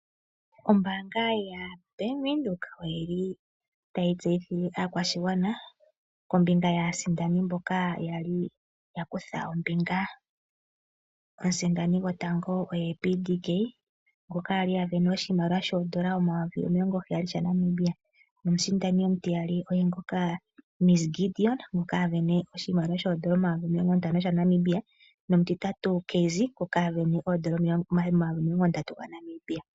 Ombaanga ya Bank Windhoek oyili tayi tseyithile oshigwana kombinga yaasindani mboka yali yakutha ombinga. Omusindani gotango oye PDK ngoka ali avene oshimaliwa shoondola omayovi omilongoheya sha Namibia. Nomusindani omutiyali oye ngoka Ms Gideon ngoka avene oshimaliwa shoondola omayovi omilongontano sha Namibia nomutitatu oye Cassy ngono avena omayovi omilongondatu ga Namibia.